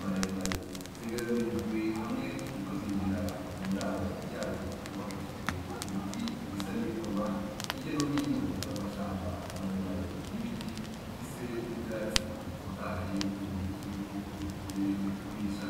maremare, zegeranirijwe hamwe ziriko zinjira mu ndaro yazo yubakishijwe ibiti bisa n'ivyuma; hirya no hino hari amashamba maremare y'ibiti afise n'ivyatsi bitotahaye nk'ikimenyetso yuko zivuye kurisha.